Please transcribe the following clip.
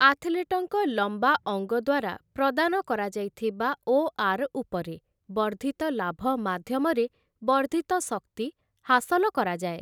ଆଥଲେଟ୍‌ଙ୍କ ଲମ୍ବା ଅଙ୍ଗ ଦ୍ୱାରା ପ୍ରଦାନ କରାଯାଇଥିବା ଓଆର୍ ଉପରେ ବର୍ଦ୍ଧିତ ଲାଭ ମାଧ୍ୟମରେ ବର୍ଦ୍ଧିତ ଶକ୍ତି ହାସଲ କରାଯାଏ ।